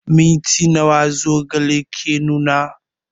Minti nawa zogale ke nuna?